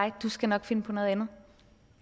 at du skal nok finde på noget andet